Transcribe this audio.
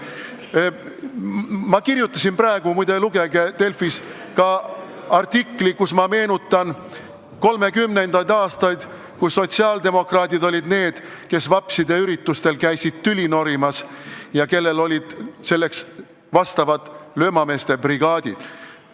Muide, ma kirjutasin ka artikli – lugege Delfist –, kus ma meenutan 1930. aastaid, kui sotsiaaldemokraadid olid need, kes vapside üritustel tüli norimas käisid ja kellel olid selleks löömameeste brigaadid kaasas.